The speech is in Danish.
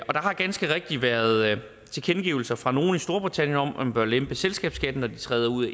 har ganske rigtigt været tilkendegivelser fra nogle i storbritannien om at man bør lempe selskabsskatten når de træder ud